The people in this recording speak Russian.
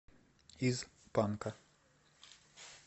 из панка